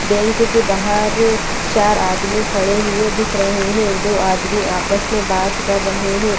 Bank के बाहर चार आदमी खड़े हुए दिख रहे हैं दो आदमी आपस में बात कर रहे हैं।